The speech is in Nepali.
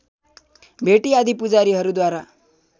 भेटी आदि पुजारीहरूद्वारा